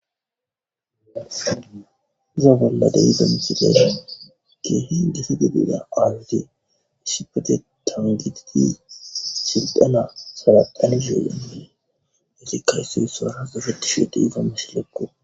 Uza bolla de iza misiles geehi desedi biida qaazizi ishipete taangididi shildana salaqanishuuya yesikka ysso issoara gafatishuue de ifammashilekko.